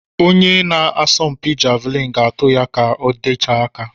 Onye na-asọmpi Javelin ga-atu ya kà ọ gatee aka.